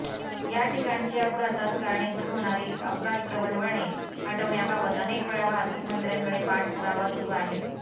या ठिकाणची अपघातास कारणीभूत होणारी अपघात प्रवण वळणे हटवण्याबाबत अनेकवेळा वाहतूक मंत्र्यांकडे पाठपुरावा सुरू आहे